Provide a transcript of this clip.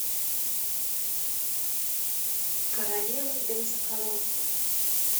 королева бензоколонки